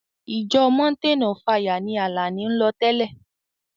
Ìjọ mountain of fire ni Àlàní ń lọ tẹ́lẹ̀.